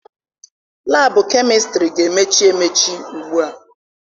Laabụ kemistịrị ga-emechi emechi ugbua.